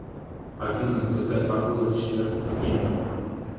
афина какая погода в четверг в кемерово